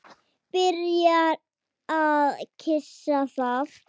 Byrjar að kyssa það.